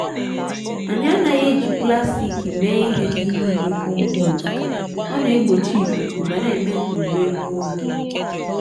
anyị anaghị eji plastik mee ihe n’ime igbe kọmpọst ọ n’egbochi ikuku ma n’eme ka ụre egbu oge.